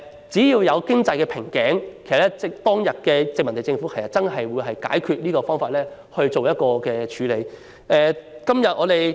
只要遇上經濟瓶頸，當日的殖民地政府會切實採取解決方法以作處理。